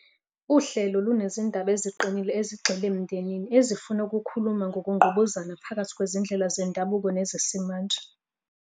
Uhlelo lunezindaba eziqinile ezigxile emndenini ezifuna ukukhuluma ngokungqubuzana phakathi kwezindlela zendabuko nezesimanje.